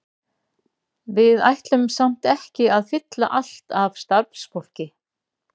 Við ætlum samt ekki að fylla allt af starfsfólki.